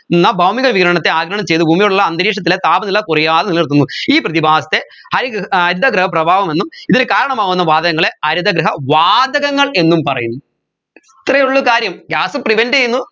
എന്ന ഭൗമികവികരണത്തെ ആഗിരണം ചെയ്തു ഭൂമിയോടുള്ള അന്തരീക്ഷത്തിലെ താപനില കുറയാതെ നിലനിർത്തുന്നു ഈ പ്രതിഭാസത്തെ ഹരിഗൃഹ ഏർ ഹരിതഗൃഹപ്രവാഹമെന്നും ഇതിന് കാരണമാകുന്ന വാതകങ്ങളെ ഹരിതഗൃഹവാതകങ്ങൾ എന്നും പറയുന്നു ഇത്രേ ഉള്ളു കാര്യം gas prevent ചെയുന്നു